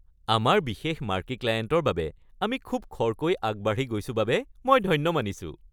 আমাৰ বিশেষ মাৰ্কী ক্লায়েণ্টৰ বাবে আমি খুব খৰকৈ আগবাঢ়ি গৈছো বাবে মই ধন্য মানিছোঁ।